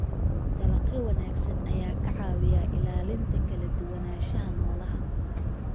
Dalagyo wanaagsan ayaa ka caawiya ilaalinta kala duwanaanshaha noolaha.